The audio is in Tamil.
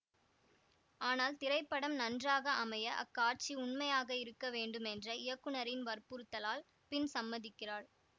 ஆனால் திரைப்படம் நன்றாக அமைய அக்காட்சி உண்மையாக இருக்க வேண்டுமென்ற இயக்குனரின் வற்புறுத்தலால் பின் சம்மதிக்கிறாள்